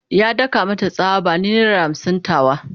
Ya daka mata tsawa "Bani naira hamsin tawa!"